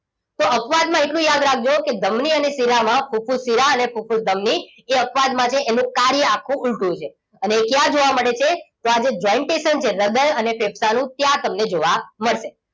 તો અપવાદ માં એટલું યાદ રાખજો કે ધમની અને શિરામાં ફુફુસ શિરા અને ફૂફૂસ ધમની એ અપવાદ મા છે એનું કાર્ય આખુ ઉલટું છે અને એ ક્યાં જોવા મળે છે તો આ જે jointation છે હૃદય અને ફેફસાનું ત્યાં તમને જોવા મળશે